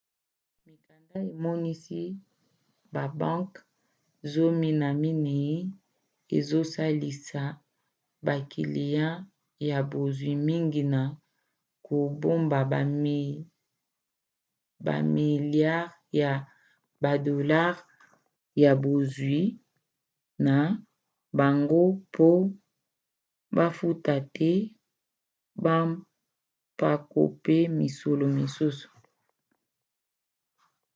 mikanda emonisi babanke zomi na minei ezosalisa bakiliya ya bozwi mingi na kobomba bamiliare ya badolare ya bozwi na bango mpo bafuta te bampako mpe misolo mosusu